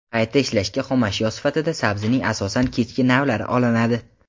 Qayta ishlashga xomashyo sifatida sabzining asosan kechki navlari olinadi.